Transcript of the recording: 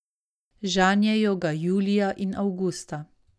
Žanjejo ga julija in avgusta.